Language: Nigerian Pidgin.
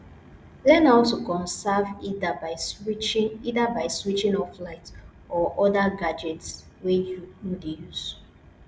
learn how to conserve either by switching either by switching off light or oda gadgets wey you no dey use